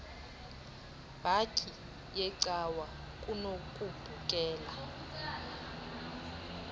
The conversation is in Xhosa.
bhatyi yecawa kunokubukela